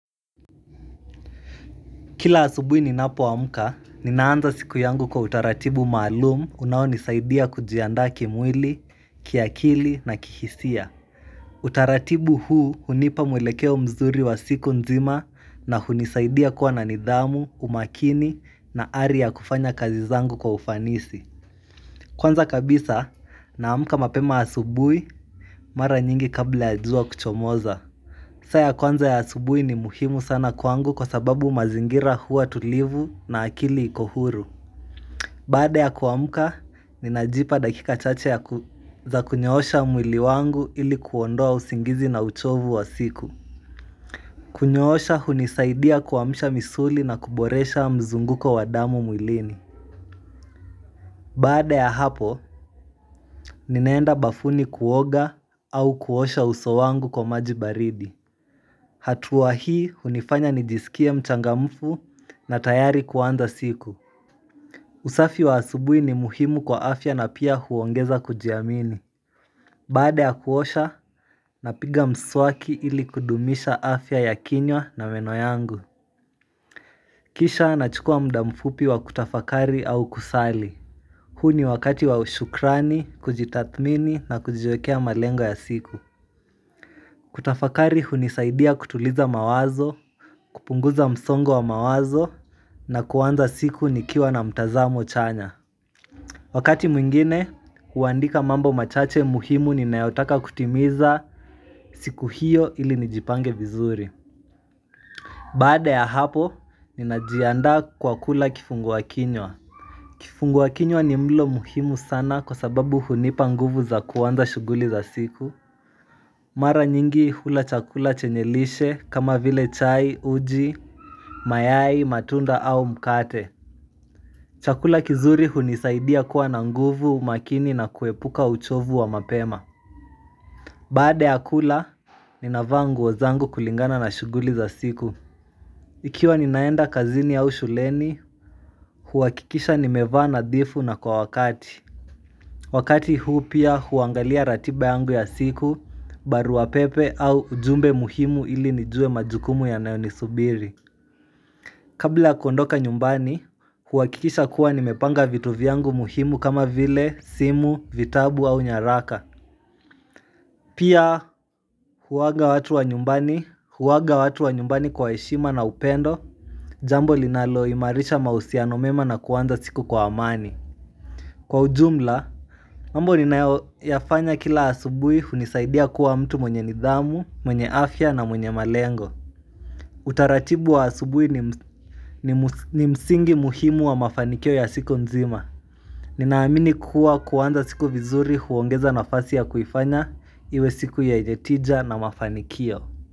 Kila asubuhi ninapoamka, ninaanza siku yangu kwa utaratibu maalum unaonisaidia kujiandaa kimwili, kiakili na kihisia. Utaratibu huu hunipa mwelekeo mzuri wa siku nzima na hunisaidia kuwa na nidhamu, umakini na ari kufanya kazi zangu kwa ufanisi. Kwanza kabisa naamka mapema asubuhi mara nyingi kabla ya jua kuchomoza. Saa ya kwanza ya subuhi ni muhimu sana kwangu kwa sababu mazingira huwa tulivu na akili ikohuru Baada ya kuamka, ninajipa dakika chache ya kua kunyoosha mwili wangu ili kuondoa usingizi na uchovu wa siku kunyoosha hunisaidia kuamusha misuli na kuboresha mzunguko wadamu mwilini Baada ya hapo, ninaenda bafuni kuoga au kuosha uso wangu kwa maji baridi Hatuaa hii hunifanya nijisikie mchangamfu na tayari kuanza siku usafi wa asubuhi ni muhimu kwa afya na pia huongeza kujiamini Baade ya kuosha, napiga mswaki ili kudumisha afya ya kinywa na meno yangu Kisha nachukua muda mfupi wa kutafakari au kusali Hu ni wakati wa ushukrani, kujitathmini na kujiwekea malengo ya siku kutafakari hunisaidia kutuliza mawazo, kupunguza msongo wa mawazo na kuanza siku nikiwa na mtazamo chanya Wakati mwingine, huandika mambo machache muhimu ninayotaka kutimiza siku hiyo ili nijipange vizuri Bada ya hapo, ninajiandaa kwa kula kifungua kinywa kifungua kinywa ni mlo muhimu sana kwa sababu hunipa nguvu za kuwanza shuguli za siku Mara nyingi hula chakula chenye lishe kama vile chai, uji, mayai, matunda au mkate Chakula kizuri hunisaidia kuwa na nguvu umakini na kuepuka uchovu wa mapema Baada ya kula, ninavaa nguo zangu kulingana na shuguli za siku Ikiwa ninaenda kazini au shuleni, huhakikisha nimevaa nadhifu na kwa wakati Wakati huu pia huangalia ratiba yangu ya siku, barua wapepe au ujumbe muhimu ili nijue majukumu yanayo nisubiri Kabla ya kuondoka nyumbani, huhakikisha kuwa nimepanga vitu vyangu muhimu kama vile, simu, vitabu au nyaraka. Pia huwaaga watu wa nyumbani, huwaaga watu wa nyumbani kwa heshima na upendo, jambo linaloimarisha mahusiano mema na kuanza siku kwa amani. Kwa ujumla, mambo ninayoyafanya kila asubuhi hunisaidia kuwa mtu mwenye nidhamu, mwenye afya na mwenye malengo. Utaratibu wa asubuhi ni msingi muhimu wa mafanikio ya siku nzima Ninaamini kuwa kuanza siku vizuri huongeza nafasi ya kuifanya iwe siku yenye tija na mafanikio.